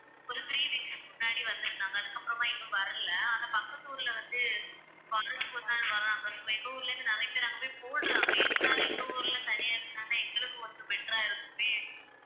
ஒரு three weeks க்கு முன்னாடி வந்திருந்தாங்க. அதுக்கப்புறமா இப்ப வரலை ஆனா பக்கத்து ஊர்ல வந்து வாரத்துக்கு ஒரு நாள் வர்றாங்க. இப்ப எங்க ஊர்ல இருந்து நிறைய பேர் அங்க போய்ப் போடுறாங்க இருந்தாலும் எங்க ஊர்ல தனியா இருந்தாதான் எங்களுக்குக் கொஞ்சம் better ஆ இருக்குமே.